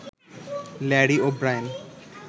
Larry O'Brien